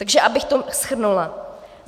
Takže abych to shrnula.